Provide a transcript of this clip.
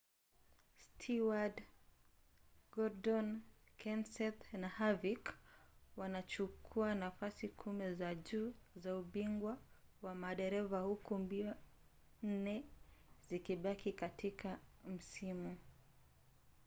stewart gordon kenseth na harvick wanachukua nafasi kumi za juu za ubingwa wa madereva huku mbio nne zikibaki katika msimu